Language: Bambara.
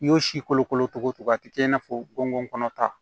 I y'o si kolokolo togo togo a tɛ kɛ i n'a fɔ gɔngɔn kɔnɔ ta